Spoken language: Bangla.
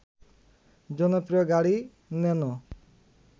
জনপ্রিয় গাড়ি ন্যানো